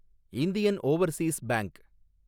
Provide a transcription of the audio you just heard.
Indian overseas bank